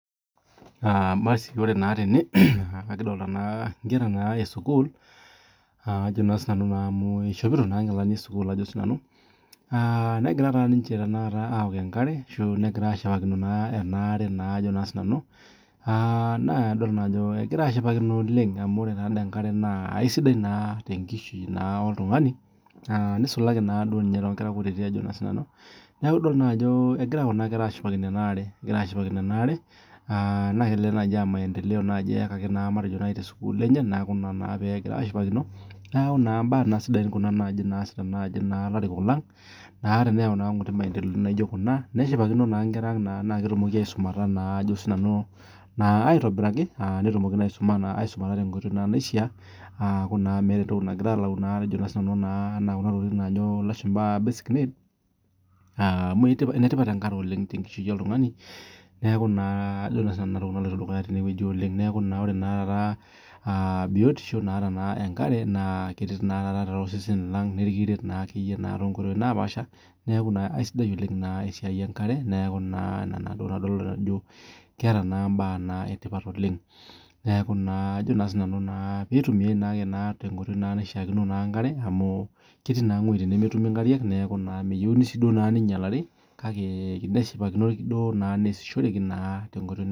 Ore naa tene nikidolita Nkera esukuul amu eshopoto nkilani esukuul negira ninche awok enkera ashu egira ashipakino ena are nadol Ajo egira ashipakino oleng amu ore enkare naa kisidai oleng tenkishui oltung'ani nisulaki naa ninye too Nkera neeku kitodolu naa Ajo egira Kuna kera ashipakino ena are naa kitodolu ajoe kelelek aa maendeleo eyakaki tee sukuul enye neeku ambe sidai ena oleng too ilarikok lang teneyau maendeleo naijio Kuna neshipakino naa Nkera ang naketumoki aisumata aitobiraki netumoki aisumata tenkoitoi naishaa tenekuu meeta ntokitin nagira alau Kuna najoo elashumba basic needs amu enetipat enkare oleng tenkishui oltung'ani neeku ninye naloito dukuya naa ore taata biotisho naata enkare naa keret osesen lang nikiret too nkoitoi napashaa naa aisidai oleng esiai enkare edol Ajo keeta mbaa etipat oleng neeku pee eitumiai tenkoitoi naishaa enkare amu ketii naa wuejitin nemetumi enkare kake meyieu sii duo nainyialare keyieu nesishoreki naa tenkoitoi naa